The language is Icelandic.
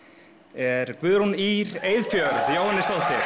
er Guðrún Ýr Eyfjörð Jóhannesdóttir